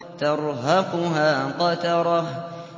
تَرْهَقُهَا قَتَرَةٌ